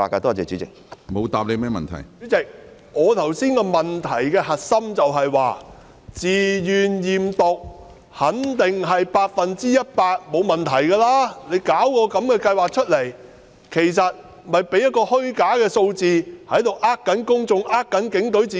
主席，我剛才的補充質詢的核心是，在自願驗毒計劃下，參與人員肯定百分之一百沒有問題，而警隊推行這項計劃，其實只是提供虛假的數字來欺騙公眾、欺騙警隊自己。